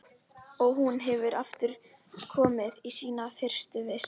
Og hún er aftur komin í sína fyrstu vist.